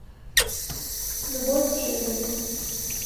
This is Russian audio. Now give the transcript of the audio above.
любовь к жизни